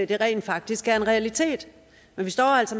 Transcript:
den rent faktisk var en realitet men vi står altså